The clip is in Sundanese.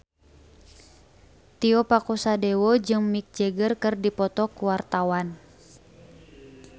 Tio Pakusadewo jeung Mick Jagger keur dipoto ku wartawan